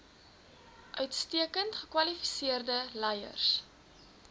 uitstekend gekwalifiseerde leiers